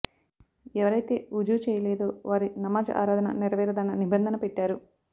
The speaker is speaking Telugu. ఎవరైతే వుజూ చేయలేదో వారి నమాజ్ ఆరాధన నెరవేరదన్న నిబంధన పెట్టారు